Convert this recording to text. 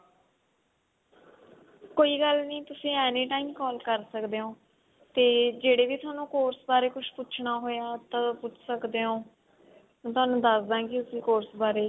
ਕੋਈ ਗੱਲ ਨਹੀਂ ਤੁਸੀਂ any time call ਕਰ ਸਕਦੇ ਹੋ ਤੇ ਜਿਹੜੇ ਵੀ ਥੋਨੇ course ਬਾਰੇ ਪੁੱਛਨਾ ਹੋਇਆ ਤਾਂ ਪੁੱਛ ਸਕਦੇ ਹੋ then ਦੱਸ ਦਾਂਗੀ ਉਸੀ course ਬਾਰੇ